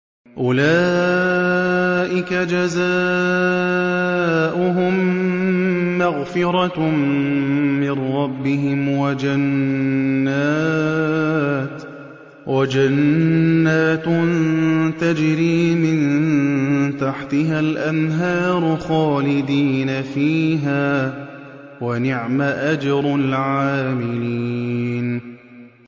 أُولَٰئِكَ جَزَاؤُهُم مَّغْفِرَةٌ مِّن رَّبِّهِمْ وَجَنَّاتٌ تَجْرِي مِن تَحْتِهَا الْأَنْهَارُ خَالِدِينَ فِيهَا ۚ وَنِعْمَ أَجْرُ الْعَامِلِينَ